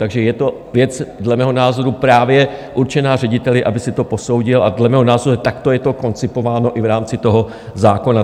Takže je to věc dle mého názoru právě určená řediteli, aby si to posoudil, a dle mého názoru takto je to koncipováno i v rámci toho zákona.